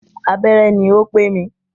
Abẹ́rẹ́ ní o pé mi.